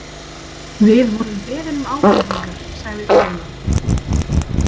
Við vorum beðin um ábendingar, sagði Fjóla.